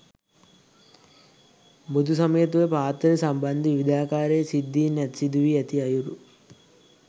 බුදුසමය තුළ පාත්‍රය සම්බන්ධ විවිධාකාරයේ සිද්ධීන් සිදුවී ඇති අයුරු